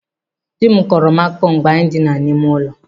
Dị m kọọrọ m akụkọ mgbe anyị dina n'ime ụlọ.